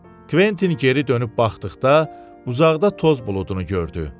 Kventin geri dönüb baxdıqda uzaqda toz buludunu gördü.